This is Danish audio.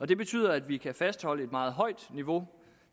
det betyder at vi kan fastholde et meget højt niveau